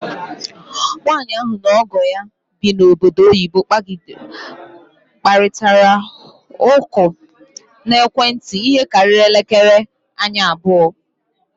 Nwanyị ahụ na ọgọ ya bi na ọbọdọ oyibo kparịtara ụkọ na ekwentị ihe karịrị elekere anya abụọ.